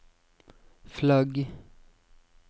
flagg